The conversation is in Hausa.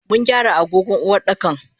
Mungyara agogon Uwardakan.